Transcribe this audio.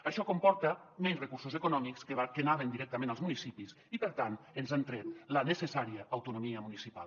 això comporta menys recursos econòmics que anaven directament als municipis i per tant ens han tret la necessària autonomia municipal